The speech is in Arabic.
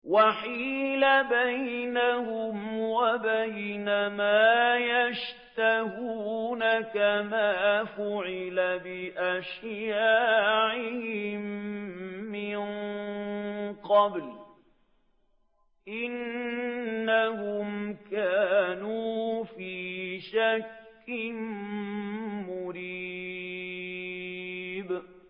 وَحِيلَ بَيْنَهُمْ وَبَيْنَ مَا يَشْتَهُونَ كَمَا فُعِلَ بِأَشْيَاعِهِم مِّن قَبْلُ ۚ إِنَّهُمْ كَانُوا فِي شَكٍّ مُّرِيبٍ